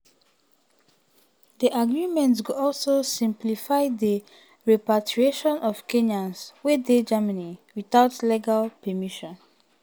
di agreement go also simplify di repatriation of kenyans wey um dey germany without legal permission.